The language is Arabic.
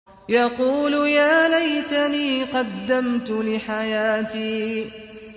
يَقُولُ يَا لَيْتَنِي قَدَّمْتُ لِحَيَاتِي